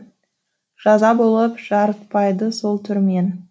жаза болып жарытпайды сол түрмен